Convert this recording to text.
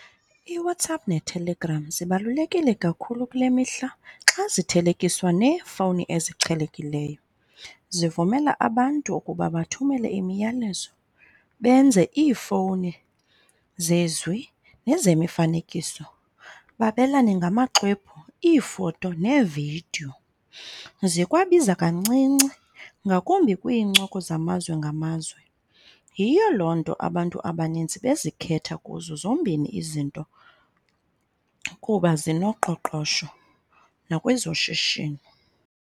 IWhatsapp neTelegram zibalulekile kakhulu kule mihla xa zithelekiswa neefowuni eziqhelekileyo. Zivumela abantu ukuba bathumele imiyalezo, benze iifowuni zezwi, nezemifanekiso, babelane ngamaxwebhu, iifoto, neevidiyo. Zikwabiza kancinci ngakumbi kwiinkcoko zamazwe ngamazwe. Yiyo loo nto abantu abaninzi bezikhetha kuzo zombini izinto kuba zinoqoqosho nakwezoshishino.